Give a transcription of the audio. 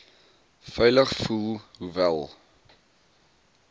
veilig voel hoewel